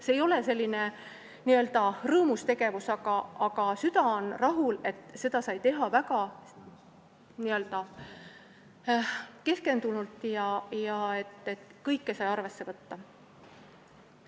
See ei ole rõõmus tegevus, aga süda on rahul, et seda sai teha väga keskendunult ja kõike sai arvesse võtta.